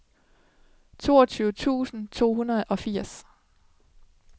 toogtyve tusind to hundrede og firs